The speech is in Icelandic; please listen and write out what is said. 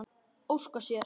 Óskar sér.